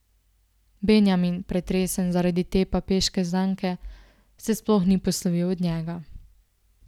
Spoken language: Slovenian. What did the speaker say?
Benjamin, pretresen zaradi te papeške zanke, se sploh ni poslovil od njega.